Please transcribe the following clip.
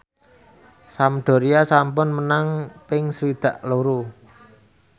Sampdoria sampun menang ping swidak loro